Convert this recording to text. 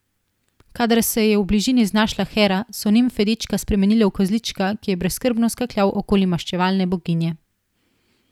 Kadar se je v bližini znašla Hera, so nimfe dečka spremenile v kozlička, ki je brezskrbno skakljal okoli maščevalne boginje.